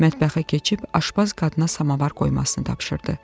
Mətbəxə keçib aşpaz qadına samavar qoymasını tapşırdı.